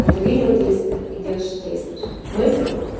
вот увидел действие идёшь действуешь мысль